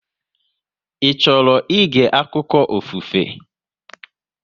Ị chọrọ ịge akụkọ ofufe?